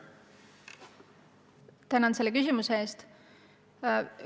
Tänan selle küsimuse eest!